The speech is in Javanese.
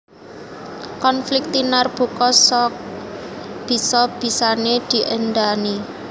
Konflik tinarbuka sak bisa bisané diendhani